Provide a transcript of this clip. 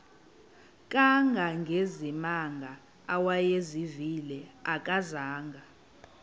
kangangezimanga awayezivile akazanga